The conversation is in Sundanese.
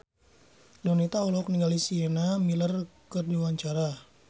Donita olohok ningali Sienna Miller keur diwawancara